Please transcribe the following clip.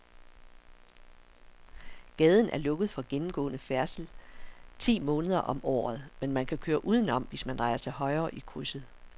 Gaden er lukket for gennemgående færdsel ti måneder om året, men man kan køre udenom, hvis man drejer til højre i krydset.